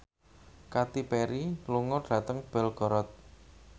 Katy Perry lunga dhateng Belgorod